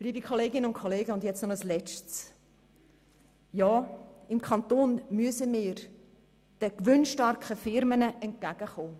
Liebe Kolleginnen und Kollegen, noch ein letzter Punkt: Wir müssen seitens des Kantons den gewinnstarken Firmen entgegenkommen.